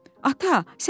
"Ata, sən dur,